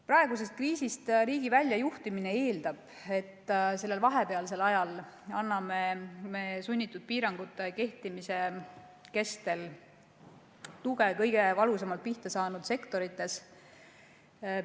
Praegusest kriisist riigi väljajuhtimine eeldab, et sellel vahepealsel ajal anname me sunnitud piirangute kehtimise kestel tuge kõige valusamalt pihta saanud sektorites.